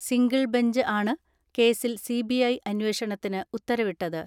Single bench ആണ് കേസിൽ CBI അന്വേഷണത്തിന് ഉത്തരവിട്ടത്.